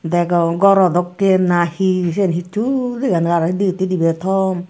degong goro dokkey na he seyan hitsu dega nw jaar aro de hitte debey tom.